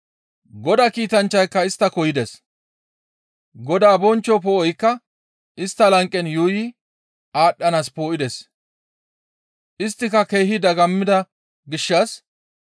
Godaa kiitanchchayka isttako yides; Godaa bonchcho poo7oykka istta lanqen yuuyi aadhdhanaas poo7ides. Isttika keehi dagammida gishshas,